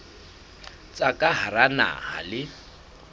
tsa ka hara naha le